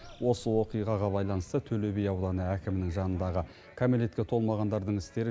осы оқиғаға байланысты төлеби ауданы әкімінің жанындағы кәмелетке толмағандардың істері